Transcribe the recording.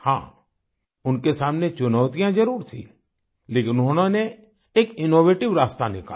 हाँ उनके सामने चुनौतियाँ जरुर थीं लेकिन उन्होंने एक इनोवेटिव रास्ता निकाला